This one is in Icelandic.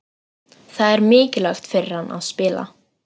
Það er mikilvægt fyrir hann að spila.